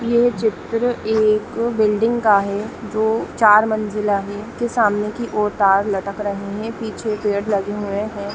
ये चित्र एक बिल्डिंग का है जो चार मंजिला है जिनके सामने की ओर तार लटक रहे है पीछे पेड़ लगे हुए है।